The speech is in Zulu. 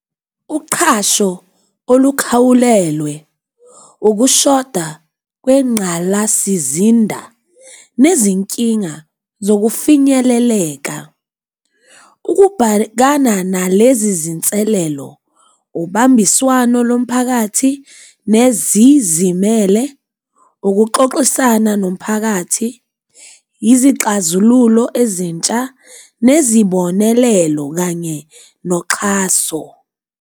Uqhasho olukhawulelwe, ukushoda kwengqalasizinda, nezinkinga zokufinyeleleka. Ukubhekana nalezi zinselelo, ubambiswano lomphakathi nezizimele, ukuxoxisana nomphakathi, yizixazululo ezintsha, nezibonelelo, kanye noxhaso.